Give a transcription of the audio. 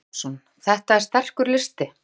Kristinn Hrafnsson: Þetta er sterkur listi?